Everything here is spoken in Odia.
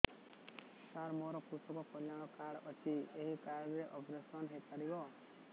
ସାର ମୋର କୃଷକ କଲ୍ୟାଣ କାର୍ଡ ଅଛି ଏହି କାର୍ଡ ରେ ଅପେରସନ ହେଇପାରିବ